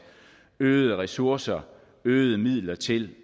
øgede ressourcer øgede midler til